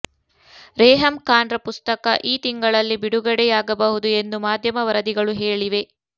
ರೇಹಮ್ ಖಾನ್ರ ಪುಸ್ತಕ ಈ ತಿಂಗಳಲ್ಲಿ ಬಿಡುಗಡೆಯಾಗಬಹುದು ಎಂದು ಮಾಧ್ಯಮ ವರದಿಗಳು ಹೇಳಿವೆ